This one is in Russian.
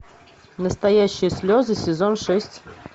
настоящие слезы сезон шесть